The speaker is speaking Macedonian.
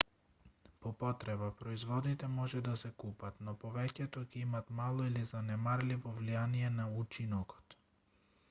по потреба производите може да се купат но повеќето ќе имаат мало или занемарливо влијание на учинокот